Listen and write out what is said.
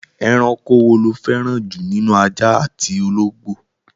Ẹranko wo lo fẹ́ràn jù nínú ajá àti ológbò?